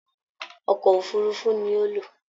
Ọkọ òfurùnfu ní o lo.